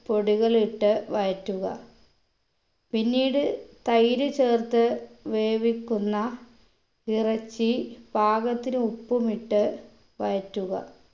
പൊടികൾ ഇട്ട് വഴറ്റുക പിന്നീട് തൈര് ചേർത്ത് വേവിക്കുന്ന ഇറച്ചി പാകത്തിന് ഉപ്പും ഇട്ട് വഴറ്റുക